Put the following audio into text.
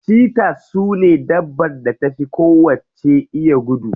Cheaters sune dabbar da ta fi kowacce iya gudu.